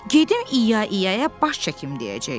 Gedim i-ya i-ya-ya baş çəkim deyəcək.